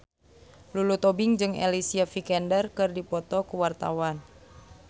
Lulu Tobing jeung Alicia Vikander keur dipoto ku wartawan